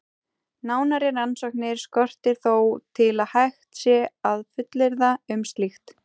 Nánari rannsóknir skortir þó til að hægt sé að fullyrða um slíkt.